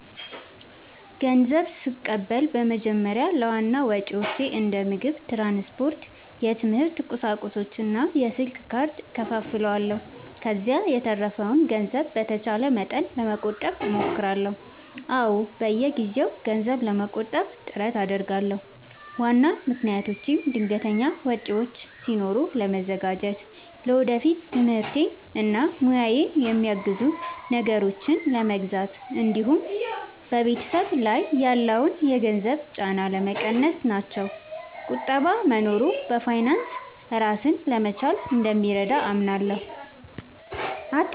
ንዘብ ስቀበል በመጀመሪያ ለዋና ወጪዎቼ እንደ ምግብ፣ ትራንስፖርት፣ የትምህርት ቁሳቁሶች እና የስልክ ካርድ እከፋፍለዋለሁ። ከዚያ የተረፈውን ገንዘብ በተቻለ መጠን ለመቆጠብ እሞክራለሁ። አዎ፣ በየጊዜው ገንዘብ ለመቆጠብ ጥረት አደርጋለሁ። ዋና ምክንያቶቼም ድንገተኛ ወጪዎች ሲኖሩ ለመዘጋጀት፣ ለወደፊት ትምህርቴን እና ሙያዬን የሚያግዙ ነገሮችን ለመግዛት እንዲሁም በቤተሰብ ላይ ያለውን የገንዘብ ጫና ለመቀነስ ናቸው። ቁጠባ መኖሩ በፋይናንስ ራስን ለመቻል እንደሚረዳ አምናለሁ።